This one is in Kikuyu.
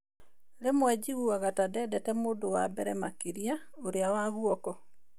"Rĩmwe njiguaga ta ndendete mũndũ wa mbere makĩria, ũrĩa wa guoko.